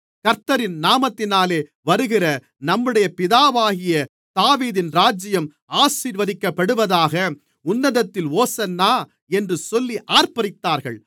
கர்த்தரின் நாமத்தினாலே வருகிற நம்முடைய பிதாவாகிய தாவீதின் ராஜ்யம் ஆசீர்வதிக்கப்படுவதாக உன்னதத்திலே ஓசன்னா என்று சொல்லி ஆர்ப்பரித்தார்கள்